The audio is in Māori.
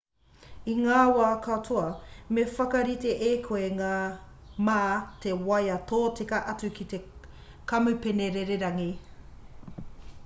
i ngā wā katoa me whakarite e koe mā te waea tōtika atu ki te kamupene rererangi